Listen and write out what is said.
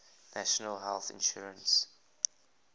national health insurance